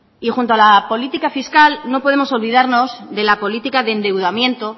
y junto a la política fiscal no podemos olvidarnos de la política de endeudamiento